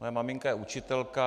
Moje maminka je učitelka.